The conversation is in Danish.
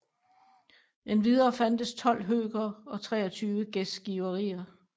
Endvidere fandtes 12 høkere og 23 gæstgiverier